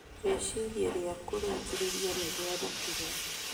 Rĩciria rĩa kũrĩkĩrĩria nĩrĩarutirwo.